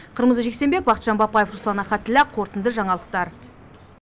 қырмызы жексенбек бақытжан бапаев руслан ахатіллә қорытынды жаңалықтар